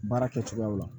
Baara kɛcogoyaw la